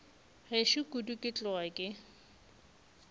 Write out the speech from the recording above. gešo kudu ke tloga ke